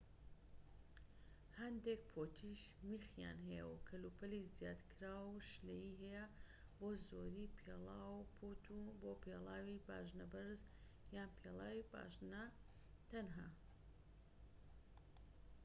هەندێک پوتیش میخیان هەیە و کەلوپەلی زیادکراوی شلەیی هەیە بۆ زۆربەی پێڵاو و پووت بۆ پێڵاوی پاژنەبەرز یان پێڵاوی پاژنە و تەنها